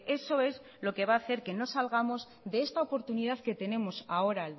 eso es lo que va a hacer que no salgamos de esta oportunidad que tenemos ahora